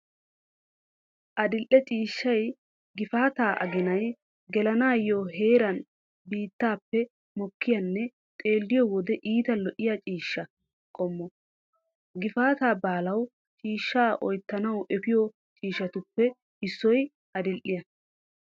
Adil'e ciishshay gifaataa aginay gelanaaniyo heeran biittaappe mokkiyanne xeelliyo wode iita lo'iya ciishshaa qommo. Gifaataa baalawu ciishshaa oyttanawu efiyo ciishshatuppe issoy adil'iyaa.